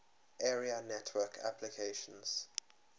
area network applications